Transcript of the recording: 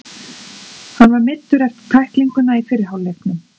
Hann var meiddur eftir tæklinguna í fyrri hálfleiknum.